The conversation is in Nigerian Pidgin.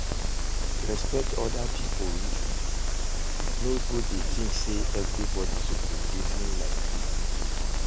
Respekt oda pipo reasoning, no go dey think sey evribodi soppse reason like yu